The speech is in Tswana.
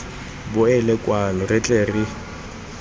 boele kwano re tle re